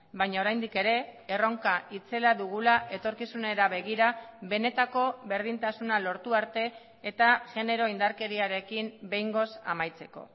baina oraindik ere erronka itzela dugula etorkizunera begira benetako berdintasuna lortu arte eta genero indarkeriarekin behingoz amaitzeko